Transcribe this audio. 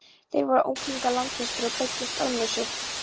Þeir voru unglingar langflestir og beiddust ölmusu.